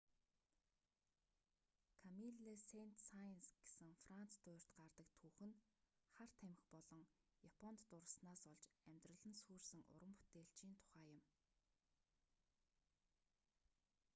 камилле сэйнт-саенс гэсэн франц дуурьт гардаг түүх нь хар тамхи болон японд дурласнаас болж амьдрал нь сүйрсэн уран бүтээлчийн тухай юм